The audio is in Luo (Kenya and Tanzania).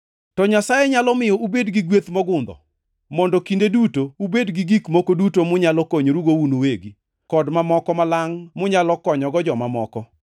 To Nyasaye nyalo miyo ubed gi gweth mogundho, mondo kinde duto ubed gi gik moko duto munyalo konyorugo un uwegi, kod mamoko malangʼ munyalo konyogo joma moko.